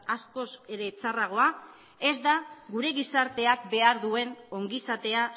askoz ere txarragoa ez da gure gizarteak behar duen ongizatea